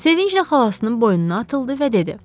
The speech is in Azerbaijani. Sevinclə xalasının boynuna atıldı və dedi: